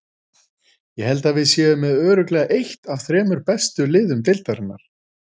Ég held að við séum með örugglega eitt af þremur bestu liðum deildarinnar.